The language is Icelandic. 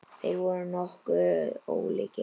Þeir voru nokkuð ólíkir.